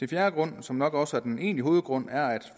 fjerde grund som nok også er den egentlige hovedgrund er at